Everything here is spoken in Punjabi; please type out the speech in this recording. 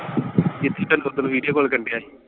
ਜਿਥੇ ਤੈਨੂੰ ਓਦਣ video call ਕਰਨ ਡੇਆ ਸੀ।